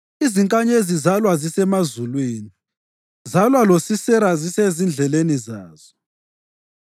Izinkanyezi zalwa zisemazulwini, zalwa loSisera zisezindleleni zazo.